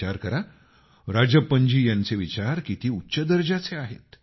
विचार करा राजप्पनजी यांचे विचार किती उच्च दर्जाचे आहेत